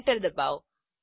enter ડબાઓ